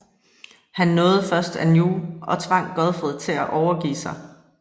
Han nåede først Anjou og tvang Godfred til at overgive sig